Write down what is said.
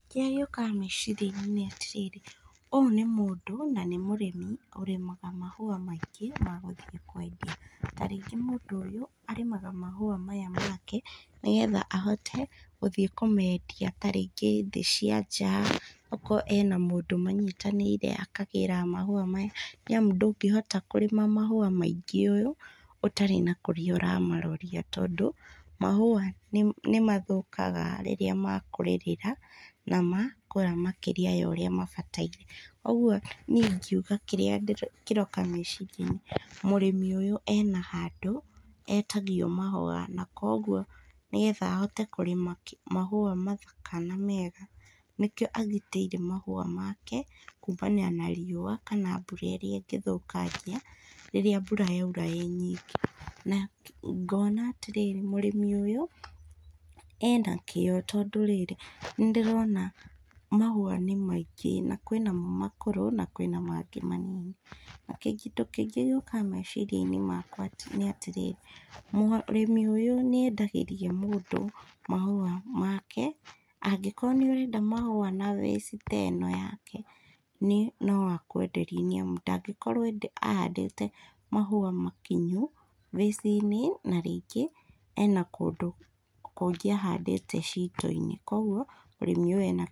Kĩrĩa gĩũkaga meciria inĩ nĩ atĩ rĩrĩ ũyũ nĩ mũndũ na nĩ mũrĩmi ũrĩmaga mahũa maingĩ magũthiĩ kwendia tarĩngĩ mũndũ ũyũ arĩmaga mahũa maya make nĩgetha ahote gũthiĩ kũmendia tarĩngĩ thĩ cia nja o korwo ena mũndũ manyitanĩire akagĩraga mahũa maya nĩamũ ndũngĩhota kũrĩma mahũa maingĩ ũũ ũtarĩ na kũrĩa ũramaroria tondũ mahũa mĩmathũkaga rĩrĩa mkũrĩrĩra na makũra makĩria ya ũrĩa mabataire, ũguo niĩ ĩngĩũga kĩrĩa kĩroka meciriainĩ mũrĩmi ũyũ ena handũ etagio mahũa kwoguo nĩgeta ahote kũrĩma mahũa mathaka na mega nĩkĩo agitĩire mahũa make kũamania na riũa kana mbũra ĩrĩa ĩngĩ thũkangia rĩrĩa mbũra yaũra ĩ nyingĩ na ngona atĩrĩrĩ ,mũrĩmi ũyũ ena kĩo tondũ rĩrĩ nĩndĩrona mhũa nĩ maingĩ na kwĩna mo makũrũ na kwĩna mangĩ manini na kĩndũ kĩngĩ gĩũkaga meciria inĩ makwa nĩ atĩrĩrĩ mũrĩmĩ ũyũ nĩ endagĩria mũndũ mahũa make angĩkorwo nĩ ũrenda mahũa na ta ĩno yake no akwenderie nĩ amũ ndangĩkorwo ahandĩte mahũa makinyu na rĩngĩ ena kũndũ kũngĩ ahandĩte cito inĩ kũogũo mũrĩmĩ ũyũ ena.